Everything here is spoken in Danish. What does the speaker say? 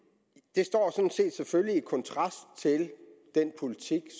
det står sådan set selvfølgelig i kontrast til den politik